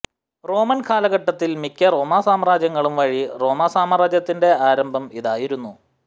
Roman കാലഘട്ടത്തിൽ മിക്ക റോമാ സാമ്രാജ്യങ്ങളും വഴി റോമാസാമ്രാജ്യത്തിന്റെ ആരംഭം ഇതായിരുന്നു